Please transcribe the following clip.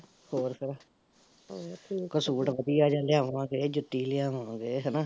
ਕੋਈ ਸੂਟ ਵਧੀਆ ਜਿਹਾ ਲਿਆਵਾਂਗੇ, ਜੁੱਤੀ ਲਿਆਵਾਂਗੇ ਹੈਨਾ ਹੋਰ ਫੇਰ